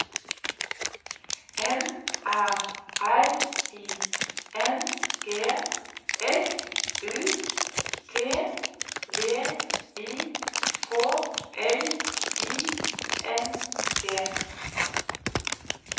N Æ R I N G S U T V I K L I N G